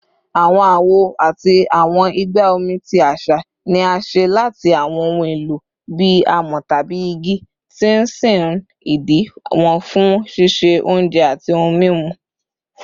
Awọn awo ati awọn igba omi ti aṣa ni a ṣe lati awọn ohun elo bii amọ tabi igi, ti n sin idi wọn fun ṣiṣe ounjẹ ati ohun mimu